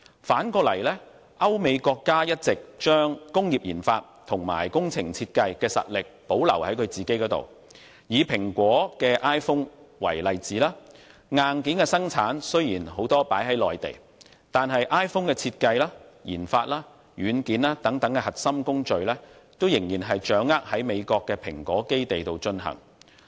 反之，歐美國家一直將工業研發和工程設計的實力保留於本土，以蘋果的 iPhone 為例，雖然很多的硬件都在中國內地生產，但 iPhone 的設計、研發和軟件等核心工序仍然在美國的蘋果基地進行。